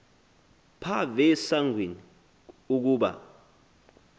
phav esangweni ukuba